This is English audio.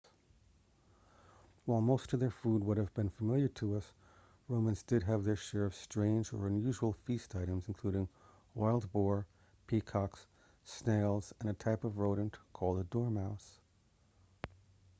while most of their food would be familiar to us romans did have their share of strange or unusual feast items including wild boar peacock snails and a type of rodent called a dormouse